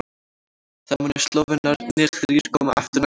Þá munu Slóvenarnir þrír koma aftur næsta sumar.